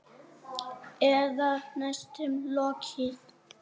Eða næstum lokið.